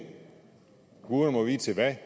guderne må vide til hvad